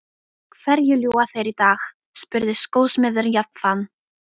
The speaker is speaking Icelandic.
Hverju ljúga þeir í dag? spurði skósmiðurinn jafnan.